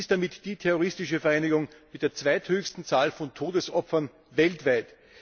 Sie ist damit die terroristische Vereinigung mit der zweithöchsten Zahl von Todesopfern weltweit.